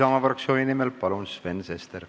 Isamaa fraktsiooni nimel Sven Sester, palun!